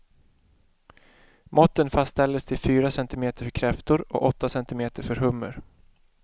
Måtten fastställes till fyra cm för kräftor och åtta cm för hummer.